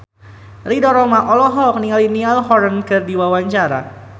Ridho Roma olohok ningali Niall Horran keur diwawancara